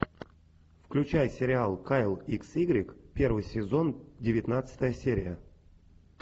включай сериал кайл икс игрек первый сезон девятнадцатая серия